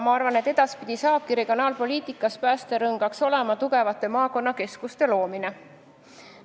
Ma arvan, et edaspidi saabki regionaalpoliitika päästerõngaks tugevate maakonnakeskuste loomine.